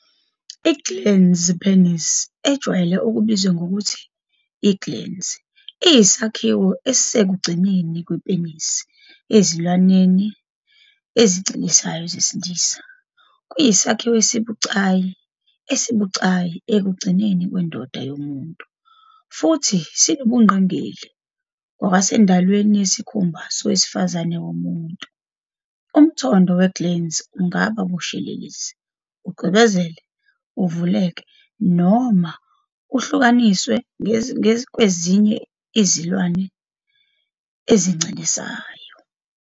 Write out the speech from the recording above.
I- glans penis, ejwayele ukubizwa ngokuthi i-glans, iyisakhiwo esisekugcineni kwepenisi ezilwaneni ezincelisayo zesilisa. Kuyisakhiwo esibucayi esibucayi ekugcineni kwendoda yomuntu, futhi sinobungqingili ngokwasendalweni yesikhumba sowesifazane womuntu. Umthondo we-glans ungaba bushelelezi, ucwebezele, uvuleke, noma uhlukaniswe kwezinye izilwane ezincelisayo.